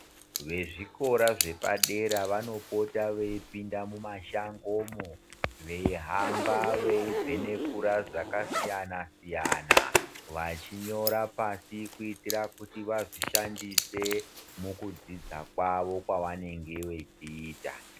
Vezvikora zvepadera vanopota veipinda mumashangomwo, veihamba veivhenengura zvakasiyana-siyana. Vachinyora pashi, kuitira kuti vazvishandise mukudzidza kwavo kwavanenge vechiita.